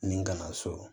Ni ka na so